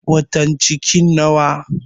Watan cikin nawa?